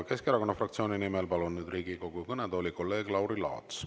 Keskerakonna fraktsiooni nimel palun Riigikogu kõnetooli kolleeg Lauri Laatsi.